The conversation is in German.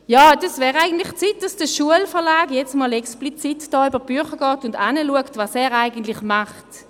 Ja, es wäre eigentlich an der Zeit, dass der Schulverlag jetzt explizit über die Bücher geht und hinschaut, was er macht.